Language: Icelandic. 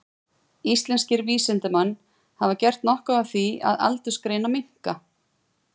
Íslenskir vísindamenn hafa gert nokkuð af því að aldursgreina minka.